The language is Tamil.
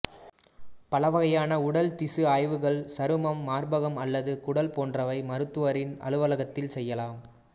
பலவகையான உடல் திசு ஆய்வுகள் சருமம் மார்பகம் அல்லது குடல் போன்றவை மருத்துவரின் அலுவலகத்தில் செய்யலாம்